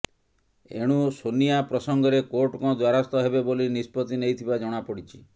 ଏଣୁ ସୋନିଆ ପ୍ରସଙ୍ଗରେ କୋର୍ଟଙ୍କ ଦ୍ୱାରସ୍ଥ ହେବେ ବୋଲି ନିଷ୍ପତ୍ତି ନେଇଥିବା ଜଣାପଡିଛି